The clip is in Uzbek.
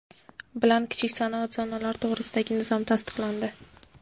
bilan Kichik sanoat zonalari to‘g‘risidagi nizom tasdiqlandi.